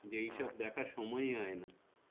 এই সব দেখার সময় হয় না।